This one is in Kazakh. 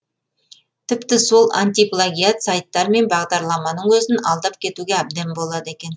тіпті сол антиплагиат сайттар мен бағдарламаның өзін алдап кетуге әбден болады екен